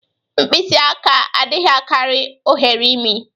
Mkpisị aka adịghị akari oghere imi.